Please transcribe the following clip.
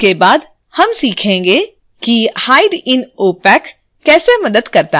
इसके बाद हम सीखेंगे कि hide in opac: कैसे मदद करता है